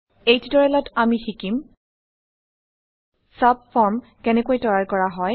এই টিউটৰিয়েলত আমি শিকিম চাবফৰ্ম কেনেকৈ তৈয়াৰ কৰা হয়